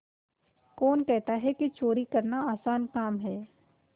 कौन कहता है कि चोरी करना आसान काम है